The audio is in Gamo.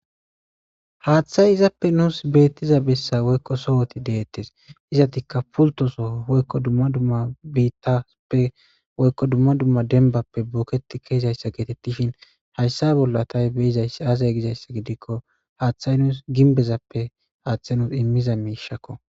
Haaththa izappe nus beeththiza bessa woykko sohothi deeththes;izaththikka pulththo soho woykko dumma dumma biiththaappe woykko dumma dumma dembbappe bookeththi kiyizayssa geetheththishin hayssa bolla tha be7izayssa aazee gizayssa gidikko haaththay nus gimbbezappe haaththe nus immiza miishakoo.